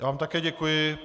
Já vám také děkuji.